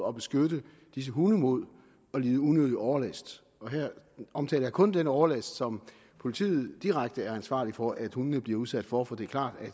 at beskytte disse hunde mod at lide unødig overlast her omtaler jeg kun den overlast som politiet direkte er ansvarlige for at hundene bliver udsat for for det er klart at